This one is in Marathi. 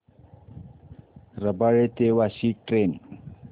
रबाळे ते वाशी ट्रेन